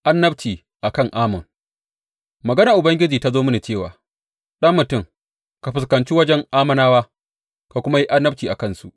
Annabci a kan Ammon Maganar Ubangiji ta zo mini cewa, Ɗan mutum, ka fuskanci wajen Ammonawa ka kuma yi annabci a kansu.